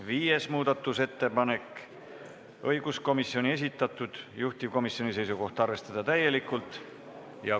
Viies muudatusettepanek, õiguskomisjoni esitatud, juhtivkomisjoni seisukoht: arvestada täielikult.